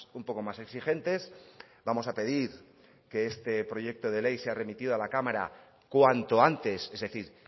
un poco más exigentes vamos a pedir que este proyecto de ley sea remitido a la cámara cuanto antes es decir